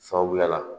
Sababuya la